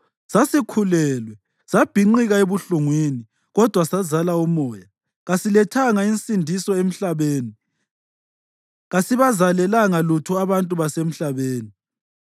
Sasikhulelwe, sabhinqika ebuhlungwini, kodwa sazala umoya. Kasilethanga nsindiso emhlabeni; kasibazalelanga lutho abantu basemhlabeni.